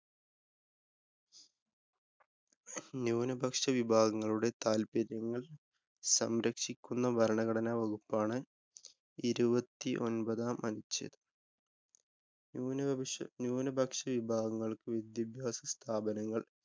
ന്യൂനപക്ഷ വിഭാഗങ്ങളുടെ താല്‍പര്യങ്ങള്‍ സംരക്ഷിക്കുന്ന ഭരണഘടനാ വകുപ്പാണ് ഇരുപത്തിയൊമ്പതാം അഞ്ചു ന്യൂനപക്ഷ ന്യൂനപക്ഷ വിഭാഗങ്ങള്‍ക്ക് വിദ്യാഭ്യാസസ്ഥാപനങ്ങള്‍